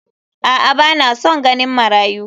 A'a ba na san ganin marayu.